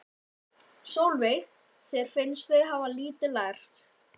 Sólveig: Þér finnst þau hafa lítið lært?